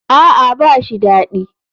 A'a ba shi dadi.